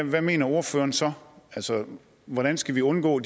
hvad mener ordføreren så altså hvordan skal vi undgå